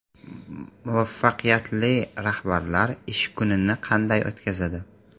Muvaffaqiyatli rahbarlar ish kunini qanday o‘tkazadi?.